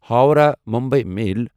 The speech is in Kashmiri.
ہووراہ مُمبے میل